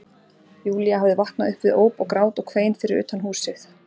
Júlía hafði vaknað upp við óp og grát og kvein fyrir utan húsið.